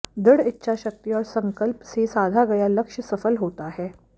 दृढ़ इच्छाशक्ति और संकल्प से साधा गया लक्ष्य सफल होता है